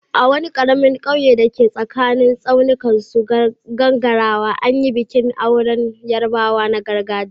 A wani karamin kauye da ke tsakanin tsaunuka masu gangarawa, an yi bikin auren Yarbawa na gargajiya.